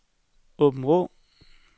Aabenraa